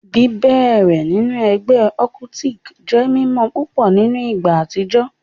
Bibẹrẹ sinu ẹgbẹ occultic jẹ mimọ pupọ ni igba atijọ